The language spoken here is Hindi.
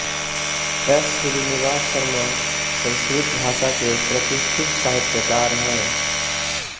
एस श्रीनिवास शर्मा संस्कृत भाषा के प्रतिष्ठित साहित्यकार हैं